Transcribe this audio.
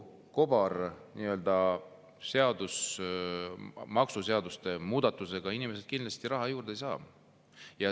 Selle kobarseaduse ja maksuseaduste muudatustega inimesed kindlasti raha juurde ei saa.